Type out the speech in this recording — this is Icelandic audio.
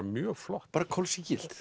mjög flott bara kol sígilt